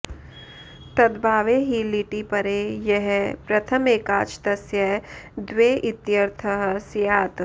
तदभावे हि लिटि परे यः प्रथम एकाच् तस्य द्वे इत्यर्थः स्यात्